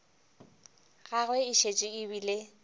gagwe e šetše e bile